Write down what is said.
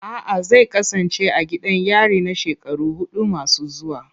A'a, zai kasance a gidan yari na shekaru hudu masu zuwa.